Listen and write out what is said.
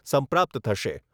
સંપ્રાપ્ત થશે.